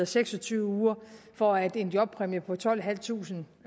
seks og tyve uger for at en jobpræmie på tolvtusinde